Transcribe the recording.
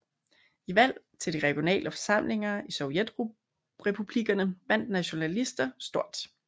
I valg til de regionale forsamlinger i Sovjetrepublikkerne vandt nationalister stort